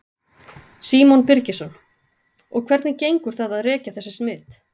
Símon Birgisson: Og hvernig gengur það að rekja þessi smit?